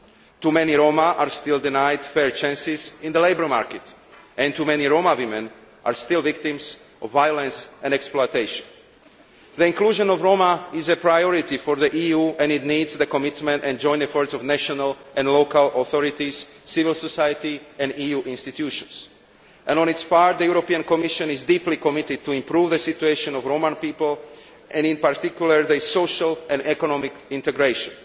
Too many Roma are still denied fair chances in the labour market and too many Roma women are still victims of violence and exploitation. The inclusion of Roma is a priority for the EU and it requires the commitment and joint efforts of national and local authorities, civil society and EU institutions. For its part, the Commission is deeply committed to improving the situation of Roma people and, in particular, their social and economic integration.